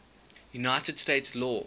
united states law